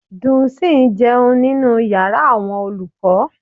Dunsin ń jẹun nínú yàrá àwọn olùkọ́.